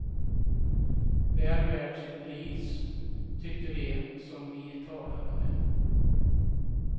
Väl värt sitt pris, tyckte de som vi talade med.